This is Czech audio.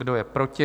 Kdo je proti?